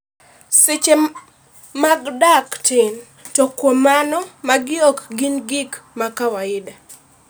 seche mag dak tin , to kuom mano magi ok gin gik ma kawaida